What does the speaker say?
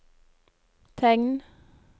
tegn